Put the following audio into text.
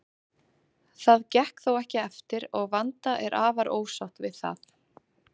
Það gekk þó ekki eftir og Vanda er afar ósátt við það.